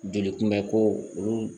Joli kunbɛnko olu